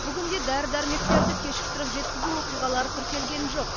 бүгінде дәрі дәрмектерді кешіктіріп жеткізу оқиғалары тіркелген жоқ